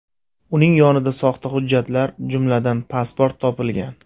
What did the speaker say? Uning yonidan soxta hujjatlar, jumladan, pasport topilgan.